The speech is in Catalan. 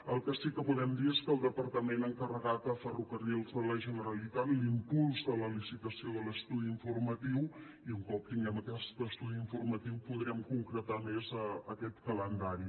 el que sí que podem dir és que el departament ha encarregat a ferrocarrils de la generalitat l’impuls de la licitació de l’estudi informatiu i un cop tinguem aquest estudi informatiu podrem concretar més aquest calendari